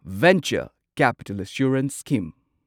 venture capital assurance scheme